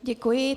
Děkuji.